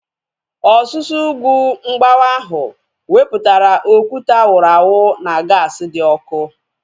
Ọsusu ugwu mgbawa ahu wepụtara okwute a wụrụ awụ na gaasi dị ọkụ